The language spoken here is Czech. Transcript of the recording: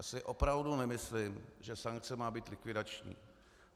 Já si opravdu nemyslím, že sankce má být likvidační.